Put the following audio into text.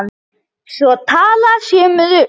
Svo talað sé um rusl.